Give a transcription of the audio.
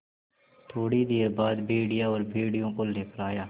थोड़ी देर बाद भेड़िया और भेड़ियों को लेकर आया